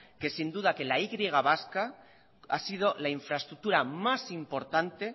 que sin duda que la y vasca ha sido la infraestructura más importante